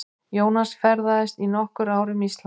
Jónas ferðaðist í nokkur ár um Ísland.